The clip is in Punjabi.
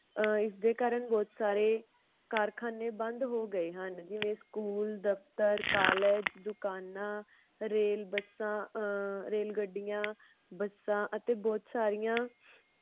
ਅਹ ਇਸਦੇ ਕਾਰਨ ਬੋਹਤ ਸਾਰੇ ਕਾਰਖਾਨੇ ਬੰਦ ਹੋ ਗਏ ਹਨ। ਜਿਵੇ school ਦਫ਼ਤਰ college ਦੁਕਾਨਾਂ ਰੇਲ ਬੱਸਾਂ ਅਹ ਰੇਲਗੱਡੀਆਂ ਬੱਸਾਂ ਅਤੇ ਬੋਹਤ ਸਾਰੀਆਂ